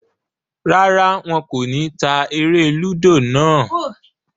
Rárá, wọn kò ní ta eré-lúdò náà.